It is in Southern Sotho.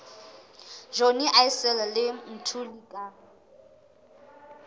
johnny issel le mthuli ka